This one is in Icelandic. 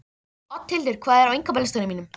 Oddhildur, hvað er á innkaupalistanum mínum?